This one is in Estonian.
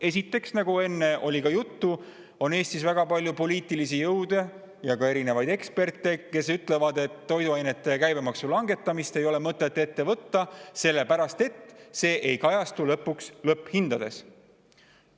Esiteks, nagu enne oli ka juttu, Eestis on poliitilisi jõude ja väga palju erinevaid eksperte, kes ütlevad, et toiduainete käibemaksu langetamist ei ole mõtet ette võtta, sellepärast et see ei kajastu lõpphindades.